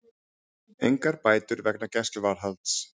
Engar bætur vegna gæsluvarðhalds